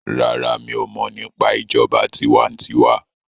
ràrá mi'o mo nípa ìjọba tiwantiwa.